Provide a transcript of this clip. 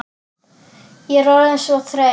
Ég er orðin svo þreytt.